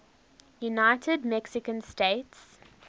united mexican states